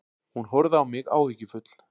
Hún horfði á mig áhyggjufull.